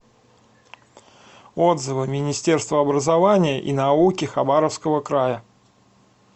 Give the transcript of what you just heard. отзывы министерство образования и науки хабаровского края